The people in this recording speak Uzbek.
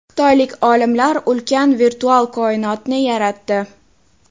Xitoylik olimlar ulkan virtual koinotni yaratdi.